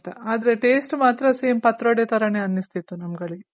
ಆದ್ರೆ taste ಮಾತ್ರ same patrode ತರನೇ ಅನ್ಸ್ತಿತ್ತು ನಮ್ಗಲ್ಗೆ